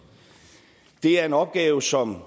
det er en opgave som